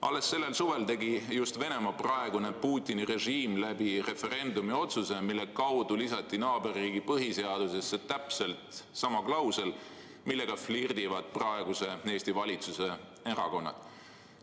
Alles sellel suvel tegi Venemaa praegune, Putini režiim referendumi kaudu otsuse, millega lisati meie naaberriigi põhiseadusesse täpselt sama klausel, millega flirdivad praegu Eesti valitsuserakonnad.